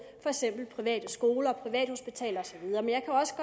private skoler og privathospitaler